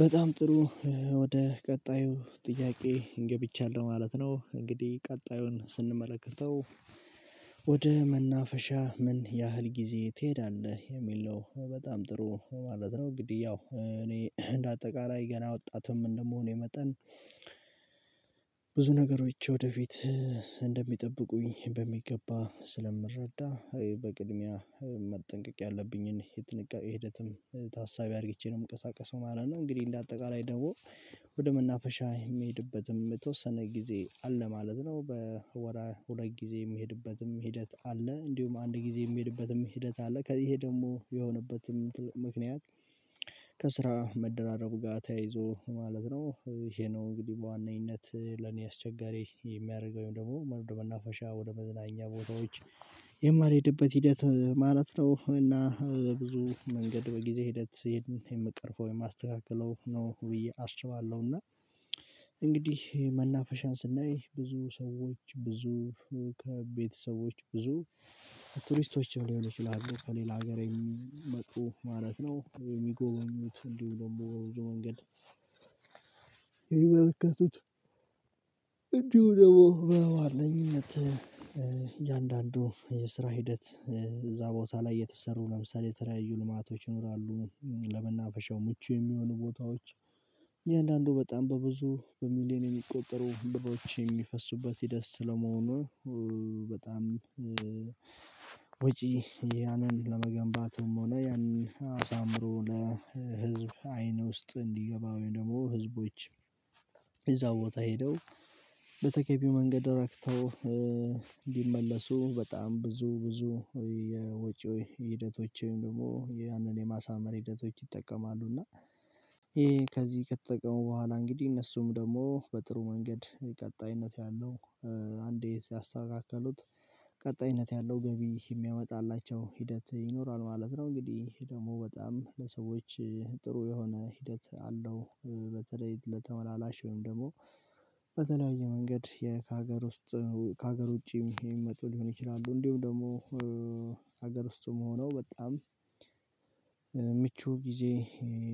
በጣም ጥሩ ወደ ቀጣዩ ጥያቄ ገብቻለው ማለት ነው። እንግዲህ ቀጣዩን ስንመለከተው ወደ መናፈሻ ምን ያህል ጊዜ ትሄዳለህ የሚል ነው? በጣም ጥሩ ማለት ነው። እንግዲህ ያው እኔ እንደ አጠቃላይ ገና ወጣትም እንደመሆኔ መጠን ብዙ ነገሮች ወደፊት እንደሚጠብቁኝ በሚገባ ስለምረዳ በቅድሚያ መጠንቀቅ ያለብኝን የጥንቃቄ ሂደትም ታሳቢ አድርግቼ ነው የምንቀሳቀሰው ማለት ነው። እንግዲህ እንደ አጠቃላይ ደግሞ ወደ መናፈሻ የምሄድበትም የተወሰነ ጊዜ አለ ማለት ነው። በወር ሁለት ጊዜ የምሄድበትም ሂደት አለ እንዲሁም አንድ ጊዜ የምሄድበትም ሂደት አለ ከዚህ ይሄ ደግሞ የሆነበትም ምክንያት ከስራ መደራረቡ ጋር ተያይዞ ማለት ነው። ይሄ ነው እንግዲህ በዋነኝነት ለኔ አስቸጋሪ የሚያደርገው ወይም ደግሞ ወደ መናፈሻ ወደ መዝናኛ ቦታዎች የማልሄድበት ሂደት ማለት ነው። እና ብዙ መንገድ በጊዜ ሂደት የምቀርፈው የማስተካከለው ነው ብዬ አስባለሁ። እና እንግዲህ መናፈሻን ስናይ ብዙ ሰዎች ብዙ ከቤተሰቦች ብዙ ቱሪስቶችም ሊሆን ይችላሉ ከሌላ ሀገር የሚመጡ ማለት ነው። የሚጎበኙት እንዲሁ ደግሞ በብዙ መንገድ የሚመለከቱት እንዲሁ ደግሞ በዋነኝነት እያንዳንዱ የስራ ሂደት እዛ ቦታ ላይ የተሰሩ ለምሳሌ የተለያዩ ልማቶች ይኖራሉ። ለመናፈሻው ምቹ የሚሆኑ ቦታዎች እያንዳንዱ በጣም በብዙ በሚሊየን የሚቆጠሩ ብሮች የሚፈሱበት ሂደት ስለመሆኑ በጣም ወጪ ያንን ለመገንባትም ሆነ ያንን አሳምሮ ለህዝብ አይን ውስጥ እንዲገባ ወይም ደግሞ ህዝቦች እዛው ቦታ ሄደው በተገቢው መንገድ ረክተው ቢመለሱ በጣም ብዙ ብዙ የወጪ ሂደቶች ወይም ደግሞ ያህንን የማሳመር ሂደቶች ይጠቀማሉ። እና ይሄ ከዚህ ከተጠቀሙ በኋላ እንግዲህ እነሱም ደግሞ በጥሩ መንገድ ቀጣይነት ያለው አንዴ ያስተካከሉት ቀጣይነት ያለው ገቢ የሚያመጣላቸው ሂደት ይኖራል ማለት ነው። እንግዲህ ይሄ ደግሞ በጣም ለሰዎች ጥሩ የሆነ ሂደት አለው። በተለይ ለተመላላሽ ወይም ደግሞ በተለያየ መንገድ ከሀገር ውስጥ ከሀገር ውጪም ይመጡ ሊሆን ይችላሉ። እንዲሁም ደግሞ ሀገር ውስጥም ሆነው በጣም ምቹ ጊዜ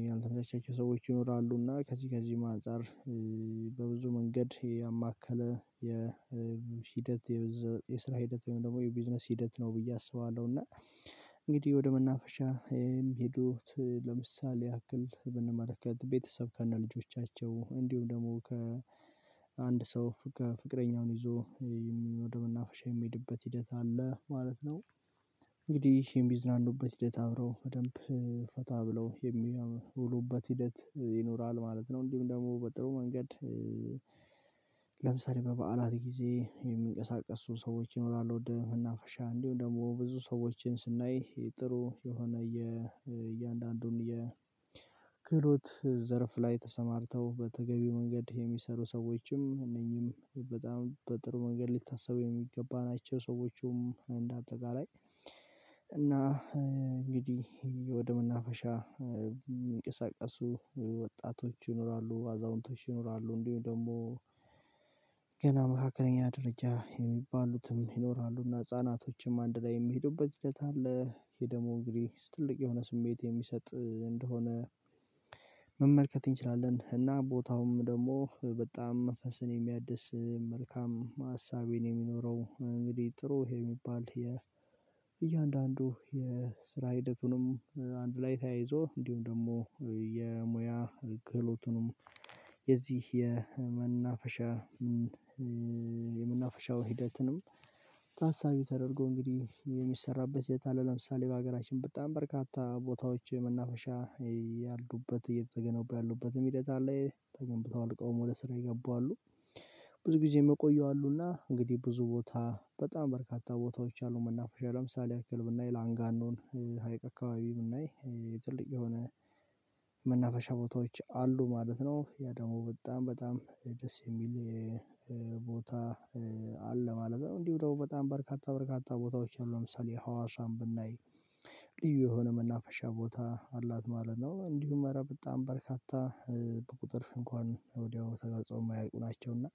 ያልተመቻቸው ሰዎች ይኖራሉ እና ከዚህ ከዚህም አንፃር በብዙ መንገድ ያማከለ የሂደት የስራ ሂደት ወይም ደግሞ የቢዝነስ ሂደት ነው ብዬ አስባለሁ። እና እንግዲህ ወደ መናፈሻ የሚሄዱት ለምሳሌ ያክል ብንመለከት ቤተሰብ ከነ ልጆቻቸው እንዲሁም ደግሞ ከአንድ ሰው ከፍቅረኛውን ይዞ ወደ መናፈሻ የሚሄድበት ሂደት አለ ማለት ነው። እንግዲህ የሚዝናኑበት ሂደት አብረው በደንብ ፈታ ብለው የሚያውሉበት ሂደት ይኖራል ማለት ነው። እንዲሁም ደግሞ በጥሩ መንገድ ለምሳሌ በበዓላት ጊዜ የሚንቀሳቀሱ ሰዎች ይኖራሉ ወደ መናፈሻ እንዲሁም ደግሞ ብዙ ሰዎችን ስናይ ጥሩ የሆነ የእያንዳንዱን የክህሎት ዘርፍ ላይ ተሰማርተው በተገቢው መንገድ የሚሰሩ ሰዎችም እነኚህም በጣም በጥሩ መንገድ ሊታሰቡ የሚገባ ናቸው። ሰዎቹም እንደ አጠቃላይ እና እንግዲህ ወደ መናፈሻ የሚንቀሳቀሱ ወጣቶች ይኖራሉ አዛውንቶች ይኖራሉ እንዲሁም ደግሞ ገና መካከለኛ ደረጃ የሚባሉትም ይኖራሉ። እና ህፃናቶችም አንድ ላይ የሚሄዱበት ሂደት አለ። ይሄ ደግሞ እንግዲህ ትልቅ የሆነ ስሜት የሚሰጥ እንደሆነ መመልከት እንችላለን እና ቦታውም ደግሞ በጣም መንፈስን የሚያድስ መልካም ሀሳቤን የምኖረው እንግዲህ ጥሩ የሚባል እያንዳንዱ የስራ ሂደቱንም አንድ ላይ ተያይዞ እንዲሁም ደግሞ የሙያ ክህሎቱንም የዚህ የመናፈሻ የመናፈሻው ሂደትንም ታሳቢ ተደርጎ እንግዲህ የሚሰራበት ሂደት አለ። ለምሳሌ በሀገራችን በጣም በርካታ ቦታዎች የመናፈሻ ያሉበት እየተገነቡ ያሉበትም ሂደት አለ ተገንብተው አልቀውም ወደ ስራ የገቡ አሉ። ብዙ ጊዜ ምቆዩ አሉ እና እንግዲህ ብዙ ቦታ በጣም በርካታ ቦታዎች አሉ። መናፈሻ ለምሳሌ ያክል ብናይ ላንጋኖን ሀይቅ አካባቢ ብናይ የትልቅ የሆነ መናፈሻ ቦታዎች አሉ ማለት ነው። ያ ደግሞ በጣም በጣም ደስ የሚል ቦታ አለ ማለት ነው። እንዲሁ ደግሞ በጣም በርካታ በርካታ ቦታዎች አሉ ለምሳሌ ሀዋሳን ብናይ ልዩ የሆነ መናፈሻ ቦታ አላት ማለት ነው። እንዲሁም እረ በጣም በርካታ በቁጥር እንኳን ወዲያው ተጋጽኦ የማያልቁ ናቸው። እና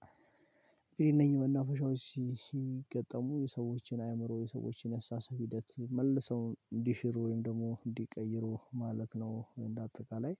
እንግዲህ እነኚህ መናፈሻዎች ሲገጠሙ የሰዎችን አእምሮ የሰዎችን የአስተሳሰብ ሂደት መልሰው እንዲሽሩ ወይም ደግሞ እንዲቀይሩ ማለት ነው። እንደ አጠቃላይ